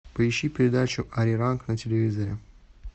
поищи передачу ариранг на телевизоре